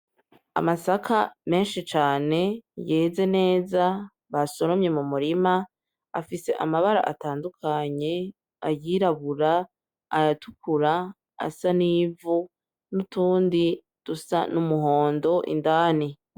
Amasaka menshi cane yeze neza, basoromye mu murima afise amabara atandukanye:ayirabura, ayatukura, ayasa n'ivu n'utundi dusa n'umuhondo indani.